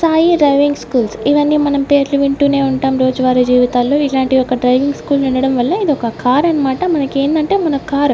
Sai driving schools ఇవన్నీ మనం పేర్లు వింటూనే ఉంటాం రోజు వారి జీవితాల్లో ఇలాంటి ఒక డ్రైవింగ్ స్కూల్ ఉండడం వల్ల ఇదొక కార్ అన్మాట మనకేందంటే మన కార్ --